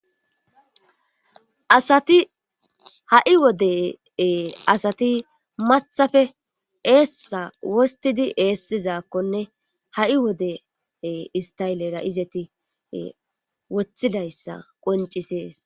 ha7i wode asati mathafe eessa wostidi eessizaakkonne ha7i wode istaylera izeti wothidayssa qoncisees